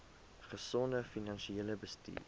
gesonde finansiële bestuur